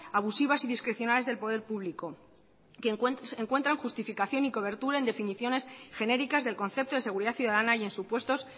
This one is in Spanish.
abusivas y discrecionales del poder público que encuentran justificación y cobertura en definiciones genéricas del concepto de seguridad ciudadanas y en supuestos